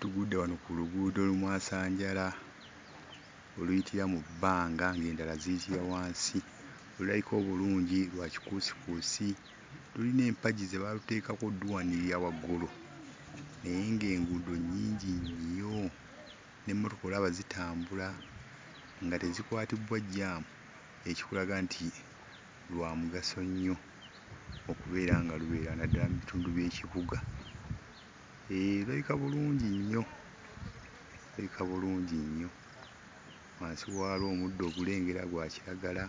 Tugudde wano ku luguudo lumwasanjala oluyitira mu bbanga ng'endala ziyitira wansi olulayika obulungi lwa kikuusikuusi lulina empagi ze baaluteekako odduwanirira waggulu naye ng'enguudo nnungi nnyo n'emmotoka olaba zitambula nga tezikwatibbwa jjaamu ekikulaga nti lwa mugaso nnyo okubeera nga lubeera naddala mu bitundu by'ekibuga eee lulabika bulungi nnyo lulabika lulungi nnyo wansi waalwo omuddo ogulengera gwa kiragala